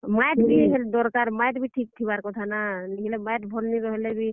ମାଏଟ୍ ବି ଦରକାର୍। ମାଏଟ୍ ବି ଠିକ୍ ରହେବାର କଥା ନା, ନିହେଲେ ମାଏଟ୍ ଠିକ୍ ନି ରହେଲେ ବି।